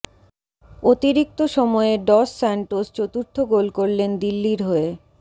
অতিরিক্তি সময়ে Dos Santos চতুর্থ goal করলেন দিল্লির হয়ে